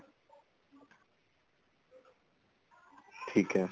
ਠੀਕ ਏ